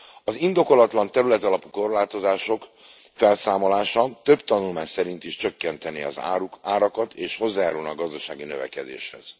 Az indokolatlan területalapú korlátozások felszámolása több tanulmány szerint is csökkentené az árakat, és hozzájárulna a gazdasági növekedéshez.